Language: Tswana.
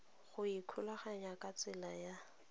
go ikgolaganya ka tsela ya